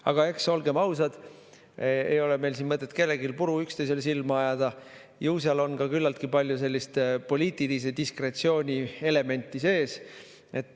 Aga olgem ausad, ei ole meil siin mõtet kellelgi puru üksteisele silma ajada, ju seal on ka küllaltki palju poliitilise diskretsiooni elementi sees.